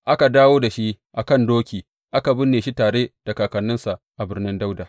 Aka dawo da shi a kan doki, aka binne shi tare da kakanninsa a Birnin Yahuda.